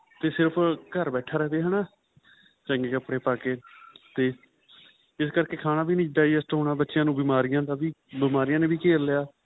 ਤੇ ਸਿਰਫ਼ ਘਰ ਬੈਠਾ ਰਵੇ ਹੈਨਾ ਚੰਗੇ ਕੱਪੜੇ ਪਾਕੇ ਤੇ ਇਸ ਕਰਕੇ ਖਾਣਾ ਵੀ ਨਹੀਂ digest ਹੋਣਾ ਬੱਚਿਆ ਨੂੰ ਬਿਮਾਰੀਆਂ ਦਾ ਵੀ ਬਿਮਾਰੀਆਂ ਨੇ ਵੀ ਘੇਰ ਲਿਆ